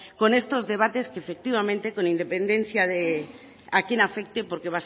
con estos debates que efectivamente con independencia de a quién afecte porque